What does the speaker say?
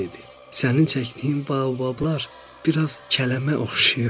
"Sənin çəkdiyin baobablar biraz kələmə oxşayır."